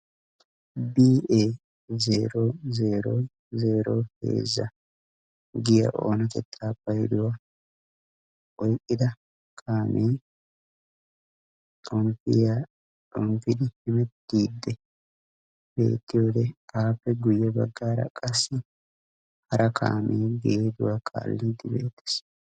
B E 0003 giya oonatetta payduwa oyqqida kaame xomppiya xomppidi hemettiidddi beetiyode appe guyye baggara qasi hara kaame geeduwa kaallidi bettes.